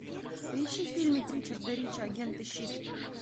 поищи фильмик ричарда рича агенты щит